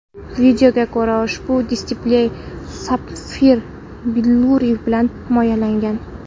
Videoga ko‘ra, ushbu displey sapfir billuri bilan himoyalanmagan.